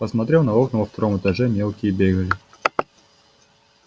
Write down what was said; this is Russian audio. посмотрел на окна во втором этаже мелкие бегали